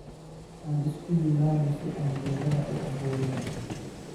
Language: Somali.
Aan iskuyimano si aan geedhaha uu aburno.